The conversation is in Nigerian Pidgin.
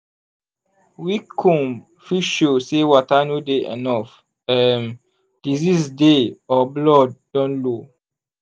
weak comb fit show say water no dey enough um disease dey or blood don low.